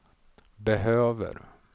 behöver